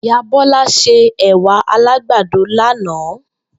Ìyá Bó̩lá se è̩wà alágbàdo lánàá